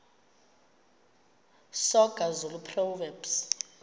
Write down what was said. soga zulu proverbs